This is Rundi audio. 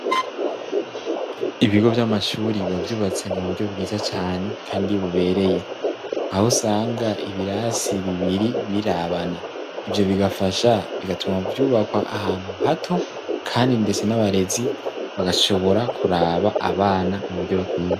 Ibigo vy'amashuri bavyubatse mu buryo bwiza cane kandi bubereye aho usanga ibirasi bibiri birabana ivyo bigafasha bigatuma vyubakwa ahantu hato kandi ndetse n'abarezi bagashobora kuraba abana mu buryo bukwiye.